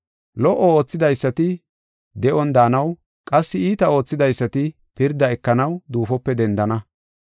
Lo77o oothidaysati de7on daanaw qassi iita oothidaysati pirda ekanaw duufope dendana.